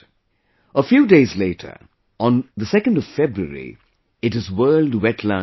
A few days later, on February 2, it is World Wetlands Day